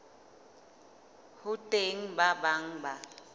ho teng ba bang ba